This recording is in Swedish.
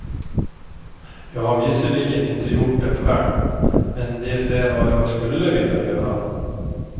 Jag har visserligen inte gjort det själv, men det är vad jag skulle vilja göra.